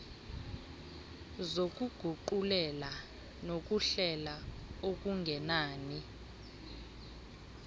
zokuguqulela nokuhlela okungenani